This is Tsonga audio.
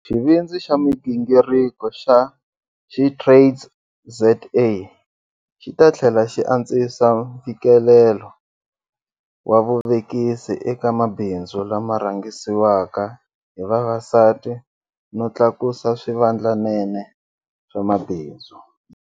Xivindzi xa migingiriko xa SheTradesZA xi ta tlhela xi antswisa mfikelelo wa vuvekisi eka mabindzu lama rhangisiwaka hi vavasati no tlakusa swivandlanene swa mabindzu.